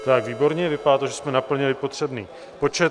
Tak výborně, vypadá to, že jsme naplnili potřebný počet.